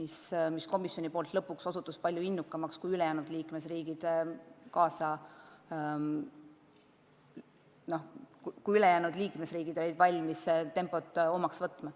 Selles küsimuses on komisjon osutunud väga innukaks, osa liikmesriike ei ole olnud valmis seda tempot järgima.